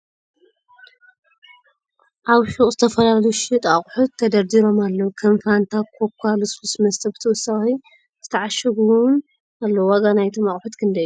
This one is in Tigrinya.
ኣብ ሹቅ ዝተፈላለዩ ዝሽየጡ ኣቁሕት ተደርዲሮም ኣለዉ ከም ፋንታ ኮካ ልስሉስ መስተ ብተወሳኪ ዝተዕሸጉ እውን ኣለዉ ። ዋጋ ናይቶም ኣቁሕት ክንደይ እዩ ?